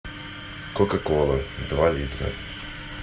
кока кола два литра